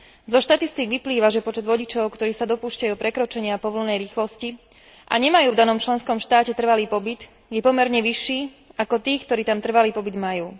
Zo štatistík vyplýva, že počet vodičov, ktorí sa dopúšťajú prekročenia povolenej rýchlosti a nemajú v danom členskom štáte trvalý pobyt, je pomerne vyšší, ako tých, ktorí tam trvalý pobyt majú.